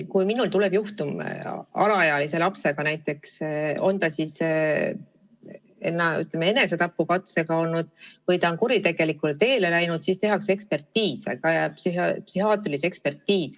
Kui tuleb juhtum, mis puudutab alaealist last, on ta siis enesetapukatse teinud või kuritegelikule teele läinud, siis tehakse talle psühhiaatriline ekspertiis.